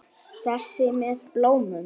Þessi með bóluna?